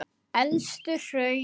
Elstu hraun